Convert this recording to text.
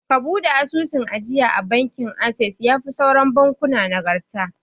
Ka buɗe asusun ajiya a bankin assess, yafi sauran bankuna nagarta